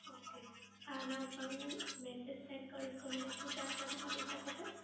Okay. આના ઉપર હું message send કરીશ તો મને શું જાણકારી મલી શકે છે?